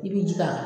I bi ji k'a kan